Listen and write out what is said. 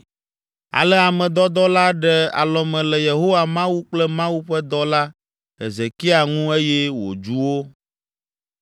Ale ame dɔdɔ la ɖe alɔme le Yehowa Mawu kple Mawu ƒe dɔla Hezekia ŋu eye wòdzu wo.